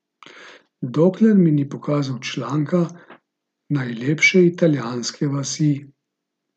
Dokler mi ni pokazal članka Najlepše italijanske vasi.